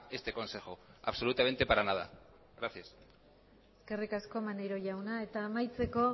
este consejo absolutamente para nada gracias eskerrik asko maneiro jauna eta amaitzeko